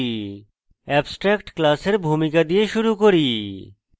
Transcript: abstract class এর ভূমিকা দিয়ে শুরু করি